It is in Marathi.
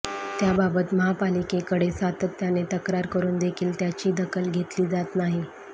त्याबाबत महापालिकेकडे सातत्याने तक्रार करुन देखील त्याची दखल घेतली जात नाही